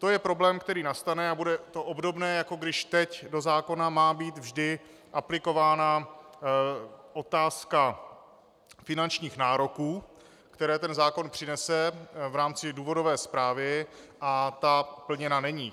To je problém, který nastane, a bude to obdobné, jako když teď do zákona má být vždy aplikována otázka finančních nároků, které ten zákon přinese, v rámci důvodové zprávy a ta plněna není.